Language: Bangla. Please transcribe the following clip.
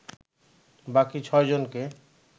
বাকি ছয়জনকে